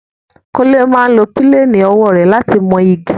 Kúnlé máa ń lo píléènì owó rẹ̀ láti mọ igi